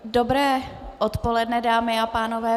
Dobré odpoledne, dámy a pánové.